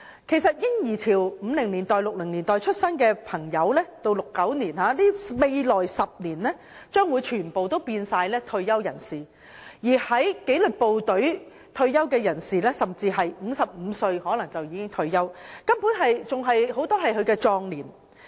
其實在嬰兒潮即1950年代或1960年代出生的人，在未來10年將全部變成退休人士，而在紀律部隊工作的人甚至可能在55歲退休，根本正值壯年。